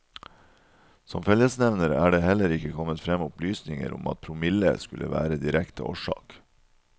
Som fellesnevner er det heller ikke kommet frem opplysninger om at promille skulle være direkte årsak.